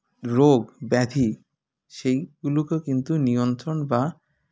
রোগ ব্যাধি সেইগুলোকে কিন্তু নিয়ন্ত্রণ বা